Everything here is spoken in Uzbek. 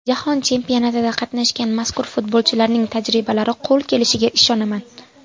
Jahon chempionatida qatnashgan mazkur futbolchilarning tajribalari qo‘l kelishiga ishonaman.